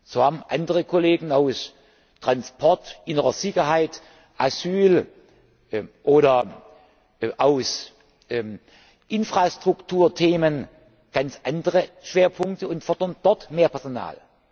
so haben andere Kollegen aus Transport, innerer Sicherheit, Asyl oder aus Infrastrukturthemen ganz andere Schwerpunkte und fordern dort mehr Personal.